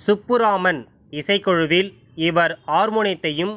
சுப்புராமன் இசைக்குழுவில் இவர் ஆர்மோனியத்தையும்